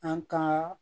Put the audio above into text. An ka